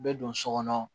Bɛ don so kɔnɔ